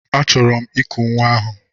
Achọrọ m I kuru nwa ahụ.